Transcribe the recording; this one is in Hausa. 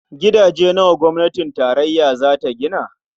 Gidaje nawa gwamnatin tarayya za ta gina?